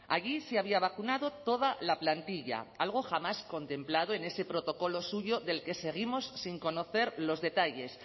allí se había vacunado toda la plantilla algo jamás contemplado en ese protocolo suyo del que seguimos sin conocer los detalles